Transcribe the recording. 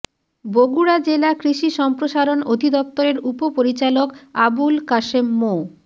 বগুড়া জেলা কৃষি সম্প্রসারণ অধিদপ্তরের উপপরিচালক আবুল কাশেম মো